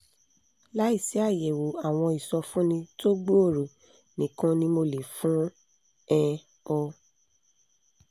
láìsí àyẹ̀wò àwọn ìsọfúnni tó gbòòrò nìkan ni mo lè fún um ọ